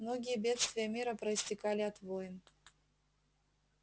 многие бедствия мира проистекали от войн